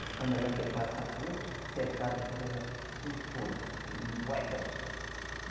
Mas quando ela quer passar para outro cercado, pois ela fura e vai lá